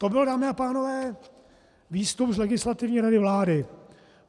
To byl, dámy a pánové, výstup z Legislativní rady vlády.